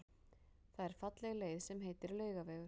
Það er falleg leið sem heitir Laugavegur.